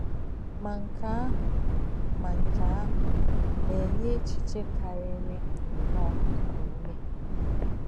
Mà nkè̄ àhụ̄ Mà nkè̄ àhụ̄ nā-è̄nyé̄ èchì̄chè̄ kárìrì nnọ́ọ̄ íkù̄ úmè̄.